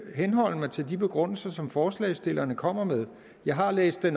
henholde mig til de begrundelser som forslagsstillerne kommer med jeg har læst det